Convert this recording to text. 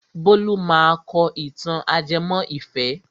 Bólú máa kọ ìtàn ajẹmọ́ ìfẹ́.